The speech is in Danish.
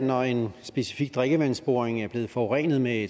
når en specifik drikkevandsboring er blevet forurenet med